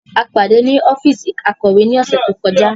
A pade ni ọfiisi Akọwe ni ọsẹ to kọja.